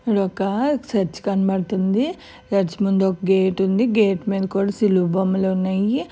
ఒక చర్చి కనపడుతుంది చర్చి ముందు గేటు ఉంది గేట్ మీద కూడా సిలువ బొమ్మలే ఉన్నాయి.